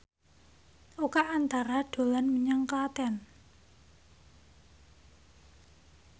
Oka Antara dolan menyang Klaten